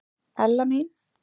Ella mín.